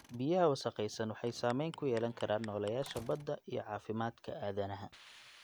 Biyaha wasakhaysan waxay saameyn ku yeelan karaan nooleyaasha badda iyo caafimaadka aadanaha.